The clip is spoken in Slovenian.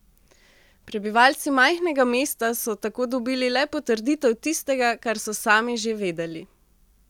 Prebivalci majhnega mesta so tako dobili le potrditev tistega, kar so sami že vedeli.